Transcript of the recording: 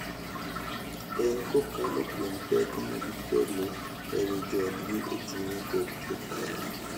En kokalo kuom pek ma gikelo e wi joodgi e chuny kod e paro.